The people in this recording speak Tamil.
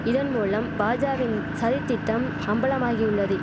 இதன் மூலம் பாஜாவின் சதித் திட்டம் அம்பலமாகியுள்ளதி